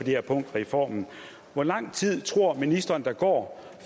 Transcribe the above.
her punkt i reformen hvor lang tid tror ministeren der går